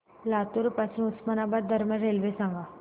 लातूर पासून उस्मानाबाद दरम्यान रेल्वे सांगा